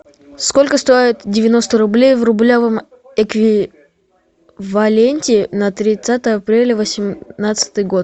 сколько стоит девяносто рублей в рублевом эквиваленте на тридцатое апреля восемнадцатый год